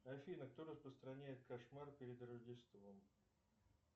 афина кто распространяет кошмар перед рождеством